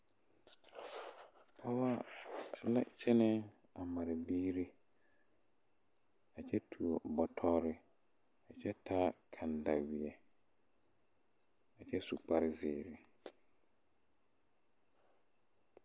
Pɔɔbɔ la kyɛnɛ a mare biire a kyɛ tuo bɔtɔrre kyɛ taa kandawie kyy su kpare zeere .